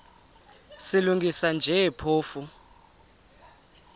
silungisa nje phofu